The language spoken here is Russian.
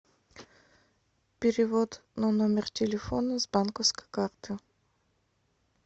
перевод на номер телефона с банковской карты